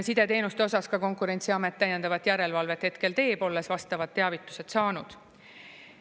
Sideteenuste osas ka Konkurentsiamet täiendavat järelevalvet hetkel teeb, olles vastavad teavitused saanud.